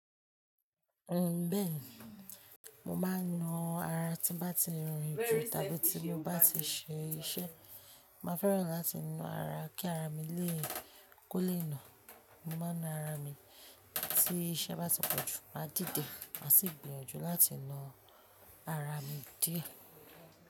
Oh bẹ́ẹ̀ni, mo máa ń na ara tí bá ti rin jù tàbí tí mo bá ti ṣe iṣẹ́. Máa fẹ́ràn láti na ara kí ara mi lè kó lé nù. Mo máa ń na ara mi tí iṣẹ́ bá ti pọ̀jù, máa dìde, màá sì gbìyànjú láti na ara mi díẹ̀.